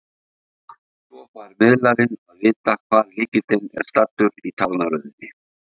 Svo fær miðlarinn að vita hvar lykillinn er staddur í talnaröðinni.